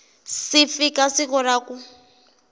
si fika siku ra ku